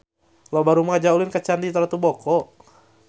Loba rumaja ulin ka Candi Ratu Boko